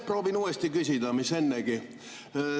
Proovin uuesti küsida seda mis ennegi.